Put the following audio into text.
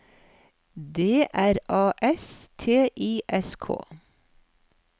D R A S T I S K